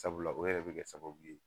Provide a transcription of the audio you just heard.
Sabula o yɛrɛ bi kɛ sababu ye